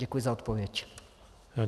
Děkuji za odpověď.